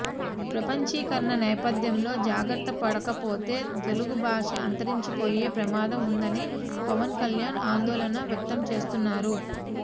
ప్రపంచీకరణ నేపథ్యంలో జాగ్రత్త పడకపోతే తెలుగుభాష అంతరించిపోయే ప్రమాదం ఉందని పవన్ కల్యాణ్ ఆందోళన వ్యక్తం చేస్తున్నారు